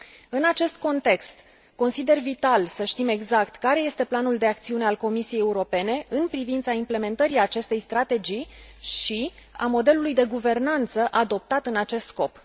În acest context, consider că este vital să știm exact care este planul de acțiune al Comisiei Europene în privința implementării acestei strategii și a modelului de guvernanță adoptat în acest scop.